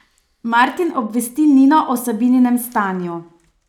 Martin obvesti Nino o Sabininem stanju.